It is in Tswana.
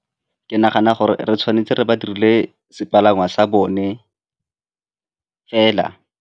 Ke nagana gore re tshwanetse re ba direle sepalangwa sa bone fela.